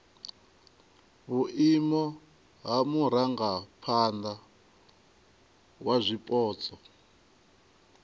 vhuimo ha murangaphana wa zwipotso